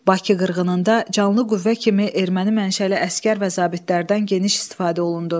Bakı qırğınında canlı qüvvə kimi erməni mənşəli əsgər və zabitlərdən geniş istifadə olundu.